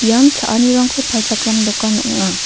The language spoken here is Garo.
ian cha·anirangko palchakram dokan ong·a.